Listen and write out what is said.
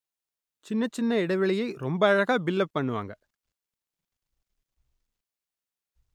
சின்னச் சின்ன இடைவெளியை ரொம்ப அழகா பில்லப் பண்ணுவாங்க